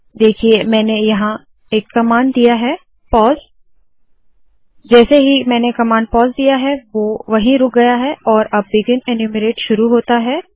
देखिए मैंने यहाँ एक कमांड दिया है पॉज़ जैसे ही मैंने कमांड पॉज़ दिया वोह वही रुक गया और अब बिगिन एन्यूमरेट शुरू होता है